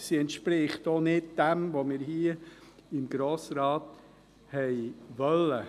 Sie entspricht auch nicht dem, was wir hier im Grossen Rat wollten.